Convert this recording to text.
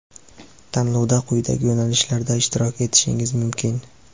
Tanlovda quyidagi yo‘nalishlarda ishtirok etishingiz mumkin:.